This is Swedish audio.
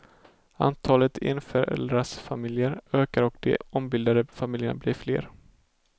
Antalet enföräldersfamiljer ökar och de ombildade familjerna blir fler.